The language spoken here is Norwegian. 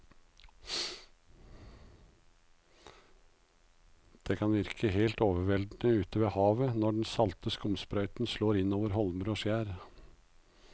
Det kan virke helt overveldende ute ved havet når den salte skumsprøyten slår innover holmer og skjær.